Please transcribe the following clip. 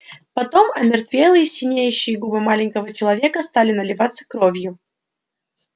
потом омертвелые синеющие губы маленького человека стали наливаться кровью